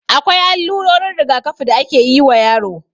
Akwai allurorin rigakafi da akeyi wa yaro